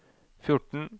fjorten